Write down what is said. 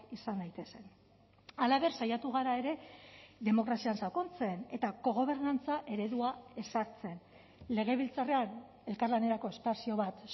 izan daitezen halaber saiatu gara ere demokrazian sakontzen eta kogobernantza eredua ezartzen legebiltzarrean elkarlanerako espazio bat